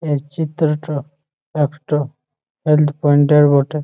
এই চিত্রটা একটো হেলথ পয়েন্টের বটে ।